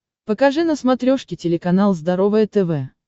покажи на смотрешке телеканал здоровое тв